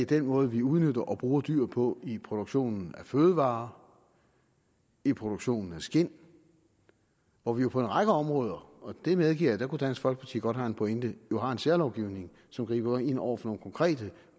den måde vi udnytter og bruger dyr på i produktionen af fødevarer og i produktionen af skind hvor vi på en række områder og jeg medgiver at der kunne dansk folkeparti godt have en pointe jo har en særlovgivning som griber ind over for nogle konkrete